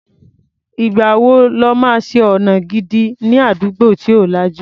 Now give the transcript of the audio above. Ìgbà wo lọ́ máa ṣe ọ̀nà gidi ní àdúgbò tí ò lajú?